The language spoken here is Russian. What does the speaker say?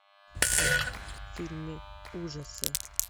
фильмы ужасы